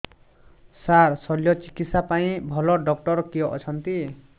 ସାର ଶଲ୍ୟଚିକିତ୍ସା ପାଇଁ ଭଲ ଡକ୍ଟର କିଏ ଅଛନ୍ତି